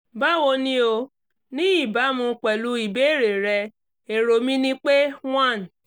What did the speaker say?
báwo ni o? ní ìbámu pẹ̀lú ìbéèrè rẹ èrò mi ni pé one